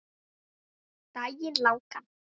Daginn langan.